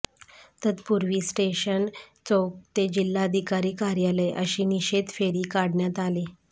तत्पूर्वी स्टेशन चौक ते जिल्हाधिकारी कार्यालय अशी निषेध फेरी काढण्यात आली